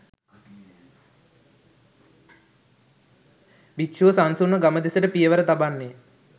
භික්‍ෂුව සන්සුන්ව ගම දෙසට පියවර තබන්නේ